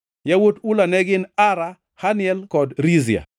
Yawuot Ula ne gin: Ara, Haniel kod Rizia.